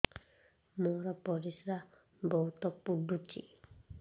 ମୋର ପରିସ୍ରା ବହୁତ ପୁଡୁଚି